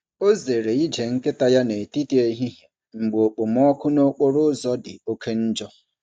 Ọ zere ije nkịta ya n’etiti ehihie mgbe okpomọkụ n’okporo ụzọ dị oke njọ.